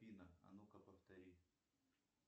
афина а ну ка повтори